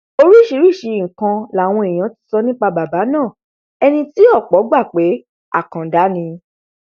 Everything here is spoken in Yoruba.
oríṣiríṣiì nǹkan làwọn èèyàn ti sọ nípa bàbá náà ẹni tí ọpọ gbà pé àkàndá ni